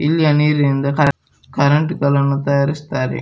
ಇಲ್ಲಿಯ ನೀರಿನಿಂದ ಕರೆಂಟ್ ಗಳನ್ನು ತಯಾರಿಸತ್ತಾರೆ.